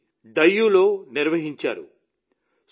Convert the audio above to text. వీటిని డయ్యూలో నిర్వహించారు